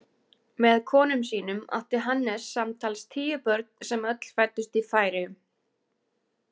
Með konum sínum átti Hannes samtals tíu börn sem öll fæddust í Færeyjum.